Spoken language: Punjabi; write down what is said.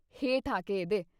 ਹੇਠ ਆ ਕੇ ਇ੍ਹਦੇ।"